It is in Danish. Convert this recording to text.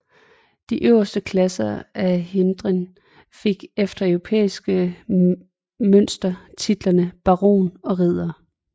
De øverste klasser i hirden fik efter europæisk mønster titlerne baron og ridder